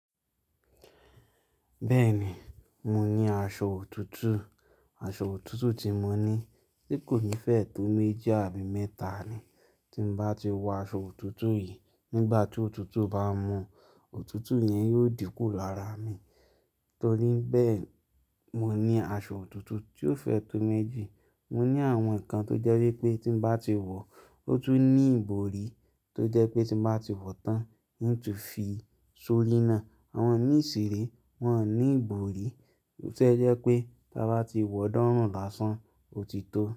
Bẹ́ẹ̀ni, mo ní aṣọ òtútù. Aṣọ òtútù tí mo ní, se kò ní fẹ̀ tó méjì àbí mẹ́ta ni. Tí mo bá ti wọ aṣọ òtútù yìí, nígbà tí òtútù bá mú, òtútù yẹn yóò dínkù lára mi. Torí bẹ́ẹ̀, mo ní aṣọ òtútù tí ó fẹ́ tó méjì. Mo ní àwọn nǹkan tó jẹ́ wípé tí mo bá ti wọ, ó tún ní ìbòrí tó jẹ́ pé tí mo bá ti wọ tán, ń tún fi sorínà. Àwọn mi ṣiré wọn ò ní ìbòrí tó jẹ́ pé tí a bá ti wọ ọ̀ọ́dúnrún lásán, ó ti tó.